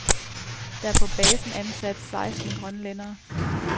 Der er på basen ansat seksten grønlændere.